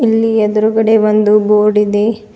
ಇಲ್ಲಿ ಎದ್ರುಗಡೆ ಒಂದು ಬೋರ್ಡ್ ಇದೆ.